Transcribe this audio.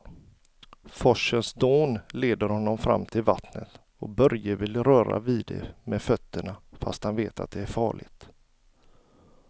Forsens dån leder honom fram till vattnet och Börje vill röra vid det med fötterna, fast han vet att det är farligt.